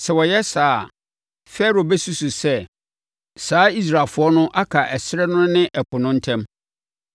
Sɛ wɔyɛ saa a, Farao bɛsusu sɛ, ‘Saa Israelfoɔ no aka ɛserɛ no ne ɛpo no ntam.’